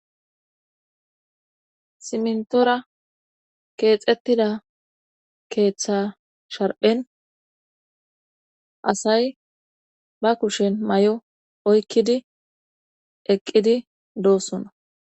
Simntoora keexettida keeththa sharpen asay ba kushen mayo oykkidi eqqidi doosona.